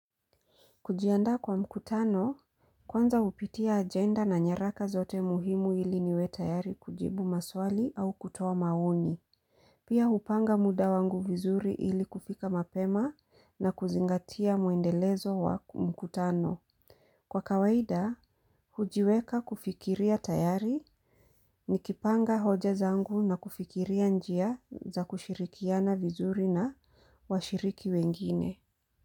Kujiandaa kwa mkutano, kwanza hupitia agenda na nyaraka zote muhimu ili niwe tayari kujibu maswali au kutoa maoni. Pia upanga muda wangu vizuri ili kufika mapema na kuzingatia muendelezo wa mkutano. Kwa kawaida, hujiweka kufikiria tayari ni kipanga hoja zangu na kufikiria njia za kushirikiana vizuri na washiriki wengine.